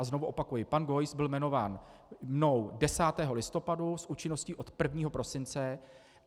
A znovu opakuji, pan Geuss byl jmenován mnou 10. listopadu s účinností od 1. prosince.